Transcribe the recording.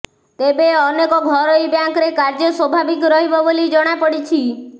ତେବେ ଅନେକ ଘରୋଇ ବ୍ୟାଙ୍କରେ କାର୍ଯ୍ୟ ସ୍ୱାଭାବିକ ରହିବ ବୋଲି ଜଣାପଡ଼ିଛି